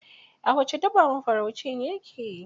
A wace daba mafaraucin ya ke?